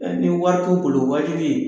Ee ni wari t'u bolo waaji bi ye